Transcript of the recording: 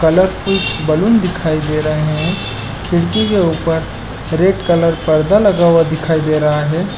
Colourful balloon दिखाई दे रहे है खिड़की के ऊपर रेड कलर पर्दा लगा हुआ दिखाई दे रहा हैं ।